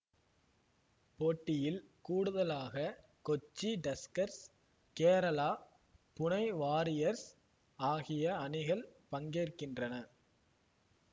போட்டியில் கூடுதலாக Kochi Tuskers Kerala Pune Warriors ஆகிய அணிகள் பங்கேற்கின்றன